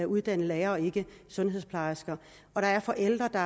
uddannede lærere og ikke sundhedsplejersker der er forældre der